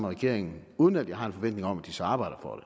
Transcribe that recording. regeringen uden at jeg har en forventning om at de så arbejder for